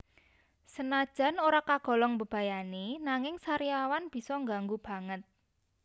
Senajan ora kagolong mbebayani nanging sariawan bisa ngganggu banget